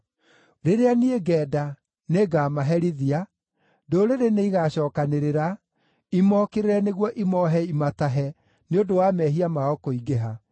Rĩrĩa niĩ ngenda, nĩngamaherithia; ndũrĩrĩ nĩigacookanĩrĩra, imokĩrĩre nĩguo imoohe imatahe nĩ ũndũ wa mehia mao kũingĩha.